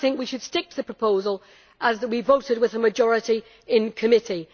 I think we should stick to the proposal as we voted with a majority in committee.